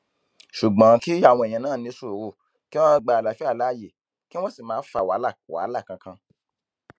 ṣùgbọn kí àwọn èèyàn náà ní sùúrù kí wọn gba àlàáfíà láàyè kí wọn sì má fa wàhálà wàhálà kankan